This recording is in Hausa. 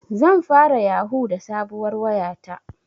Zan fara yahu da sabuwar waya ta